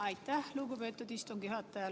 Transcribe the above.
Aitäh, lugupeetud istungi juhataja!